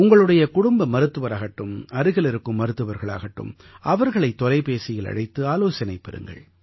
உங்களுடைய குடும்ப மருத்துவராகட்டும் அருகில் இருக்கும் மருத்துவர்களாகட்டும் அவர்களை தொலைபேசியில் அழைத்து ஆலோசனை பெறுங்கள்